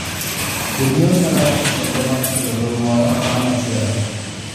Jonyiewo nyalo loso chenro mar chulo gowi moro bang' machielo.